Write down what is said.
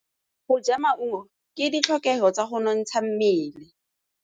Go ja maungo ke ditlhokegô tsa go nontsha mmele.